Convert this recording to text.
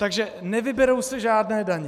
Takže nevyberou se žádné daně.